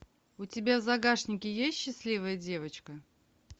у тебя в загашнике есть счастливая девочка